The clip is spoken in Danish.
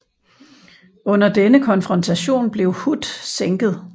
Under denne konfrontation blev Hood sænket